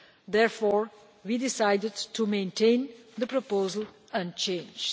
Therefore, we decided to maintain the proposal unchanged.